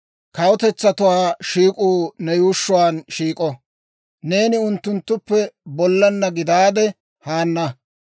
Kawutetsatuwaa shiik'uu ne yuushshuwaan shiik'o; neeni unttunttuppe bollaanna gidaade haana.